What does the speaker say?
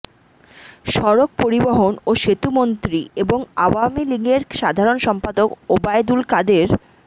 সড়ক পরিবহন ও সেতুমন্ত্রী এবং আওয়ামী লীগের সাধারণ সম্পাদক ওবায়দুল কাদের